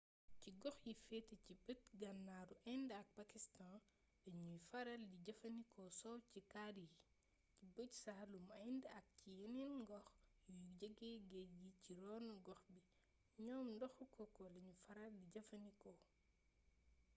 ci gox yi féete ci bët gànnaaru inde ak pakistan dañuy faral di jëfandikoo soow ci kari yi ci bëj saalumu inde ak ci yeneen gox yu jege géej gi ci ronu-gox bi ñoom ndoxu coco lañu faral di jëfandikoo